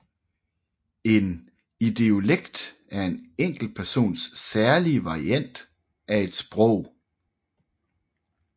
En idiolekt er en enkeltpersons særlige variant af et sprog